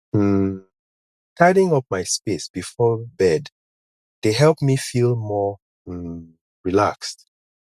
um tidying up my space before bed dey help me feel more um relaxed